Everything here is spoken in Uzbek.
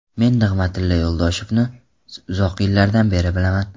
Men Nig‘matilla Yo‘ldoshevni uzoq yillardan beri bilaman.